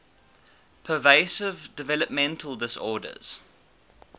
pervasive developmental disorders